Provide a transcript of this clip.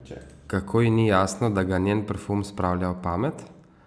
Kako ji ni jasno, da ga njen parfum spravlja ob pamet?